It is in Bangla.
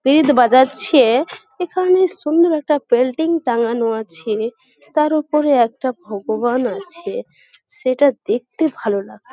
পেট বাজাচ্ছে-এ এখানে সুন্দর একটা পেলটিং টাঙ্গানো আছে তার উপরে একটা ভগবান আছে সেটা দেখতে ভালো লাগছে।